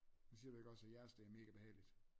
Men siger du ikke også at jeres det er mega behageligt?